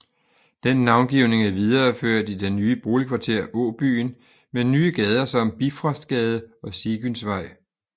Den navngivning er videreført i det nye boligkvarter Åbyen med nye gader som Bifrostgade og Sigynsvej